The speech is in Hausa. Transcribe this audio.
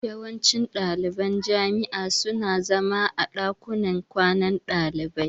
Yawancin ɗaliban jami'a su na zama a ɗakunan kwanan ɗalibai